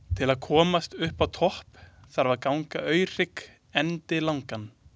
Til að komast uppá topp þarf að ganga Aurhrygg endilangan.